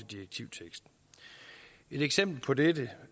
direktivteksten et eksempel på dette